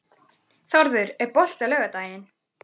Þórður, er bolti á laugardaginn?